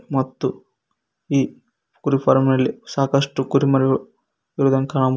ಮತ್ತು ಈ ಕುರಿ ಫಾರಂ ನಲ್ಲಿ ಸಾಕಷ್ಟು ಕುರಿ ಮರಿಗಳು ಇರುವುದನ್ನು ಕಾಣಬಹುದು.